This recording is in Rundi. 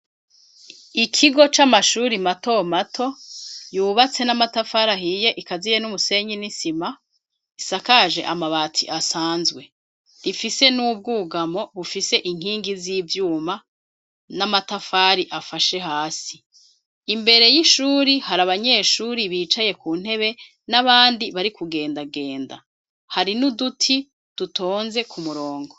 Ikigo c'amashuri mato mato, yubatse n'amatafari ahiye, ikaziye n'umusenyi n'isima, isakaje amabati asanzwe; ifise n'ubwugamo, bufise inkingi z'ivyuma, n'amatafari afashe hasi; imbere y'ishuri, hari abanyeshuri bicaye ku ntebe, n'abandi bari kugendagenda; hari n'uduti, dutonze ku murongo.